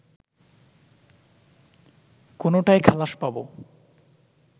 কোনোটায় খালাস পাবো